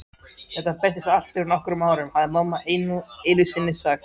Þetta breyttist allt fyrir nokkrum árum, hafði mamma einusinni sagt.